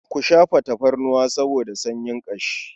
Ku shafa tafarnuwa saboda sanyin ƙashi.